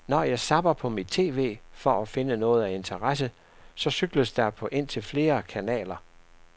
Når jeg zapper på mit tv for at finde noget af interesse, så cykles der på indtil flere kanaler.